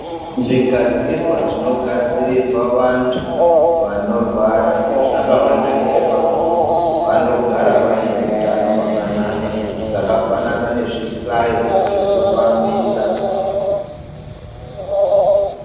Zvigadxirea zvinogadzirirwa vantu vanorwara, zvakavanakire pakuti, vanogara vane hutano hwakanaka , zvakafanana nezvihlayo zvekufambisa.